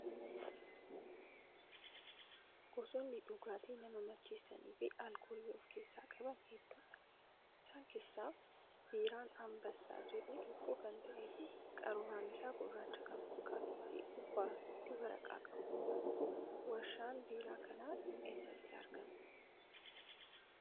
Gosoonni dhugaatii nama macheessanii fi alkoolii of keessaa qaban hedduudha. Isaan keessaa biiraan "Anbassaa" jedhu tokko kan ta'ee fi qaruuraan isaa gurraacha kan fakkaatuu fi gubbaatti waraqaa qaba. Warshaan biiraa kanaa eessatti argama?